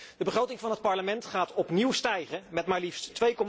De begroting van het Parlement gaat opnieuw stijgen, met maar liefst